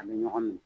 A bɛ ɲɔgɔn minɛ